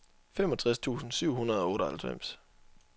femogtres tusind syv hundrede og otteoghalvfems